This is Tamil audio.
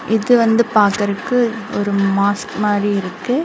இது வந்து பாக்கறக்கு ஒரு மாஸ்க் மாரி இருக்கு.